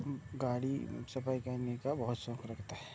उम्म गाड़ी सफाई करने का बहुत शौख रखता हैं।